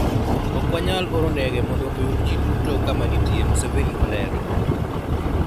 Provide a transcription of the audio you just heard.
Ok wanyal oro ndege mondo oyud ji duto kama nitie," Museveni olero.